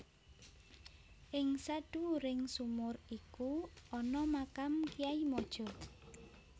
Ing sadhuwuring sumur iku ana makam Kyai Mojo